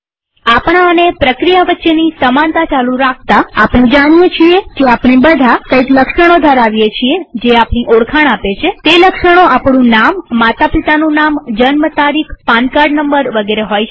આપણા અને પ્રક્રિયા વચ્ચેની સમાનતા ચાલુ રાખતાઆપણે જાણીએ છીએ કે આપણે બધા કઈક લક્ષણો ધરાવી છીએ જે આપણી ઓળખાણ આપે છેતે લક્ષણો આપણું નામમાતા પિતાનું નામજન્મ તારીખપાન કાર્ડ નંબરવગેરે હોઈ શકે